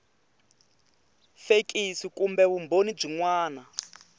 fekisi kumbe vumbhoni byin wana